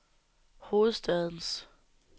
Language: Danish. hovedstadens